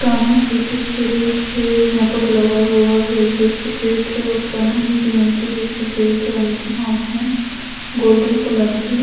कान्हा जी के सिर पे मुकुट लगा हुआ है जो सफ़ेद है कान्हा जी की मूर्ति भी सफ़ेद रंग की हाथ मे गोल्डन कलर की--